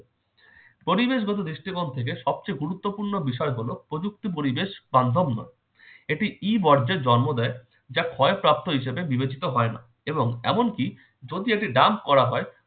পরিবেশগত দৃষ্টিকোণ থেকে সবচেয়ে গুরুত্বপূর্ণ বিষয় হলো- প্রযুক্তি পরিবেশ conformer এটি ই বর্জ্যের জন্ম দেয় যা ক্ষয়প্রাপ্ত হিসেবে বিবেচিত হয় না এবং এমনকি যদি এটি dump করা হয়